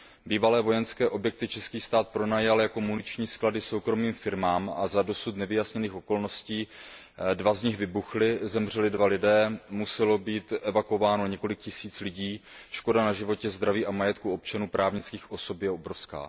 Bývalé vojenské objekty český stát pronajal jako muniční sklady soukromým firmám a za dosud nevyjasněných okolností dva z nich vybuchly, zemřeli dva lidé, muselo být evakuováno několik tisíc lidí, škoda na životě, zdraví a majetku občanů a právnických osob je obrovská.